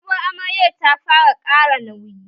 Sabuwar amaryar ta fara ƙara nauyi